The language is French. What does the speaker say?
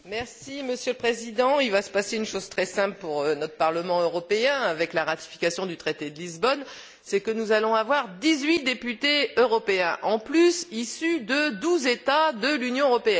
Monsieur le Président, il va se passer une chose très simple pour notre Parlement européen, avec la ratification du traité de Lisbonne, c'est que nous allons avoir dix huit députés européens en plus, issus de douze États de l'Union européenne.